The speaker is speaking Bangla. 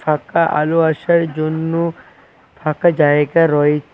ঘরটায় আলো আসার জন্য ফাঁকা জায়গা রোয়--